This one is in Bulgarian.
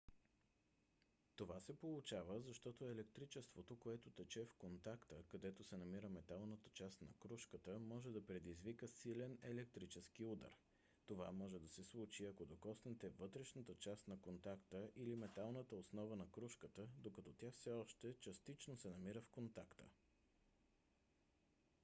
това се получава защото електричеството което тече в контакта където се намира металната част на крушката може да предизвика силен електрически удар. това може да се случи ако докоснете вътрешната част на контакта или металната основа на крушката докато тя все още частично се намира в контакта